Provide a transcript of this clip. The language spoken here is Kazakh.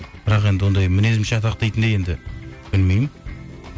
бірақ енді ондай мінезім шатақ дейтіндей енді білмеймін